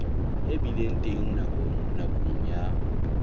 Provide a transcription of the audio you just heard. e bileng teng nakong ya